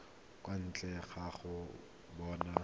kwa ntle ga go bona